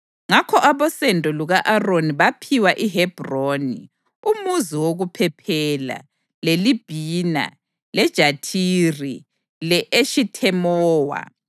Ngakho abosendo luka-Aroni baphiwa iHebhroni (umuzi wokuphephela), leLibhina, leJathiri, le-Eshithemowa,